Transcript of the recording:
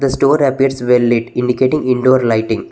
The store appears well lit indicating indoor lighting.